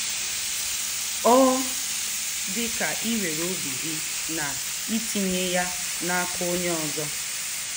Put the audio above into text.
Ọ dị ka iwere obi gị na itinye ya n'aka onye ọzọ.